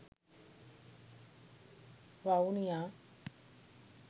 vavuniya